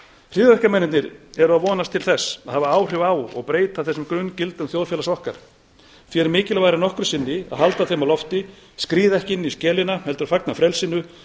hryðjuverkamennirnir eru að vonast til þess að hafa áhrif á og breyta þessum grunngildum þjóðfélags okkar því er mikilvægara en nokkru sinni að halda þeim á lofti skríða ekki inn í skelina heldur fagna frelsinu